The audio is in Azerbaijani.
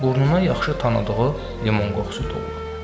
Burnuna yaxşı tanıdığı limon qoxusu doldu.